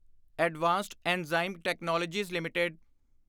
advanced Enzyme Technologies LTD